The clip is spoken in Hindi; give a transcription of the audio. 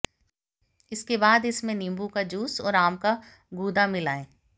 इसके बाद इसमें नींबू का जूस और आम का गूदा मिलाएं